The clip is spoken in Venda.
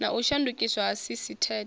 na u shandukiswa ha sisiteme